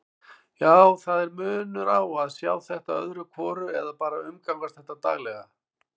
Já, það er munur á að sjá þetta öðru hvoru eða bara umgangast þetta daglega.